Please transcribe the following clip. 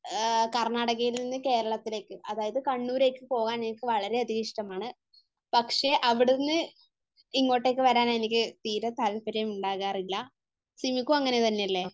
കർണ്ണാടകയിൽനിന്നു കേരളത്തിലേക്ക് അതായത് കണ്ണൂരേക്ക് പോകാൻ എനിക്ക് വളരെയധികം ഇഷ്ടമാണ് പക്ഷെ അവിടുന്ന് ഇങ്ങോട്ടേക്ക് വരാൻ എനിക്ക് തീരെ താല്പര്യം ഉണ്ടാവാറില്ല. സിമിക്കും അങ്ങനെ തന്നെയല്ലേ?